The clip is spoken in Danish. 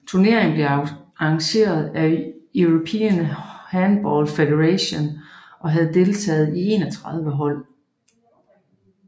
Turneringen blev arrangeret af European Handball Federation og havde deltagelse af 31 hold